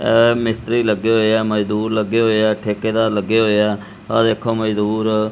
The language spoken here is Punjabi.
ਇਹ ਮਿਸਤਰੀ ਲੱਗੇ ਹੋਏ ਆ ਮਜ਼ਦੂਰ ਲੱਗੇ ਹੋਏ ਆ ਠੇਕੇਦਾਰ ਲੱਗੇ ਹੋਏ ਆ ਆਹ ਦੇਖੋ ਮਜ਼ਦੂਰ--